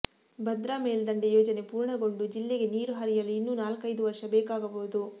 ಭದ್ರಾ ಮೇಲ್ದಂಡೆ ಯೋಜನೆ ಪೂರ್ಣಗೊಂಡು ಜಿಲ್ಲೆಗೆ ನೀರು ಹರಿಯಲು ಇನ್ನೂ ನಾಲ್ಕೈದು ವರ್ಷ ಬೇಕಾಗಬಹುದು